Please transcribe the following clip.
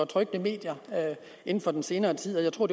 trykte medier inden for den senere tid jeg tror